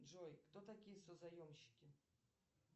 джой кто такие созаемщики